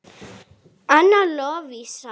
Anna Lovísa.